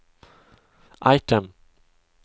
item